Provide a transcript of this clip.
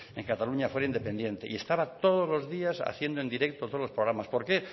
en que cataluña fuera independiente y estaba todos los días haciendo en directo todos los programas por qué